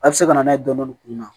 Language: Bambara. A bɛ se ka na n'a ye dɔɔni dɔɔni kunna